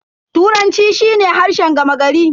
Turanci shi ne harshen gama gari.